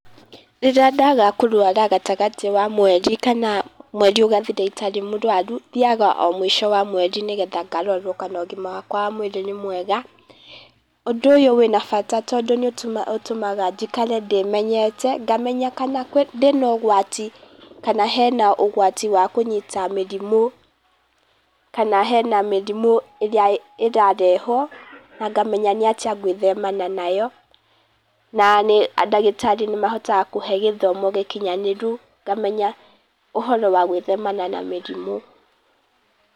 Rĩrĩa ndaga kũrwara gatagatĩ wa mweri, kana mweri ũgathira itarĩ mũrwaru, thiaga o mũico wa mweri nĩgetha ngarorwo kana ũgima wakwa wa mwĩrĩ nĩ mwega, ũndũ ũyũ wĩna bata, tondũ nĩ ũtũmaga njikare ndĩmenyete, ngamenya kana ndĩ na ũgwati kana hena ũgwati wa kũnyita mĩrimũ, kana hena mĩrimũ ĩrĩa ĩrarehwo, na ngamenya nĩ atĩa ngwĩthemana nayo, na nĩ ndagĩtarĩ nĩ mahotaga kũhe gĩthomo gĩkinyanĩru, ngamenya ũhoro wa gwĩthemana na mĩrimũ.